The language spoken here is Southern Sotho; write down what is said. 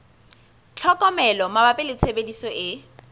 tlhokomelo mabapi le tshebediso e